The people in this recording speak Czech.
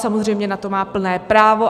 Samozřejmě na to má plné právo.